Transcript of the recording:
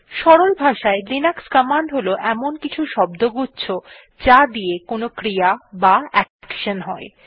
সরল ভাষায় Linux command হল এমন কিছু শব্দগুচ্ছ যা দিয়ে কোনো ক্রিয়া বা অ্যাকশন হয়